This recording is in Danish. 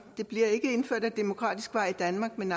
det bliver ikke indført ad demokratisk vej i danmark men